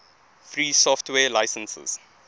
free software licenses